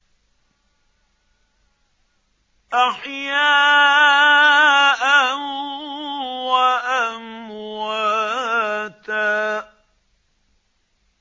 أَحْيَاءً وَأَمْوَاتًا